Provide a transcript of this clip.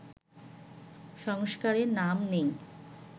সংস্কারের নাম নেই